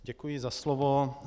Děkuji za slovo.